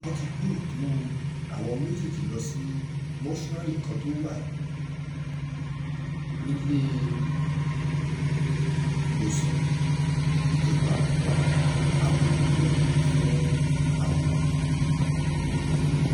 wọ́n ti gbé òkú àwọn méjèèjì lọ sí mọ́ṣúárì kan tó wà níléemọ̀sán ìjọba àgbègbè náà fún àyẹ̀wò